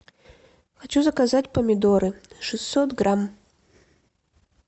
хочу заказать помидоры шестьсот грамм